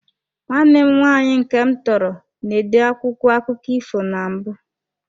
Nwanne m nwaanyị nke m tọrọ, na-ede akwụkwọ akụkọ ifo na mbụ.